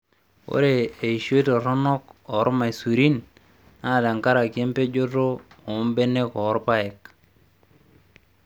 Ore eishoi toronok oo irmaisurin naa tenkaraki empejoto oombenek oo irpaek